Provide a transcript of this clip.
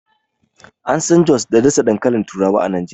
An San jos da ɗasa dankalin turawa a Najeriya.